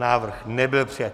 Návrh nebyl přijat.